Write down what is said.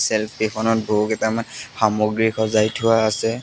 Self কেইখনত বহুকেইটামান সামগ্ৰী সজাই থোৱা আছে।